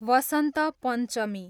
वसन्त पञ्चमी